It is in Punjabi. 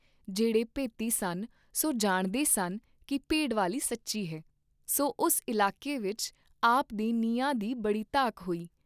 ਜਿਹੜੇ ਭੇਤੀ ਸਨ ਸੋ ਜਾਣਦੇ ਸਨ ਕੀ ਭੇਡ ਵਾਲੀ ਸੱਚੀ ਹੈ, ਸੋ ਉਸ ਇਲਾਕੇ ਵਿਚ ਆਪ ਦੇ ਨਿਆਂ ਦੀ ਬੜੀ ਧਾਕ ਹੋਈ।